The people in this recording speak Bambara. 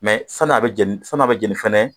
Mɛ sann'a bɛ jɛni sann'a bɛ jɛni fɛnɛ